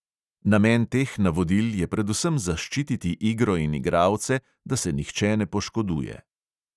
Namen teh navodil je predvsem zaščititi igro in igralce, da se nihče ne poškoduje.